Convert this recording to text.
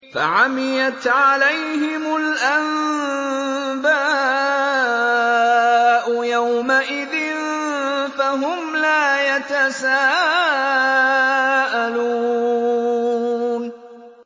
فَعَمِيَتْ عَلَيْهِمُ الْأَنبَاءُ يَوْمَئِذٍ فَهُمْ لَا يَتَسَاءَلُونَ